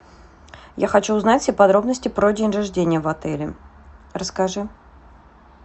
я хочу узнать все подробности про день рождения в отеле расскажи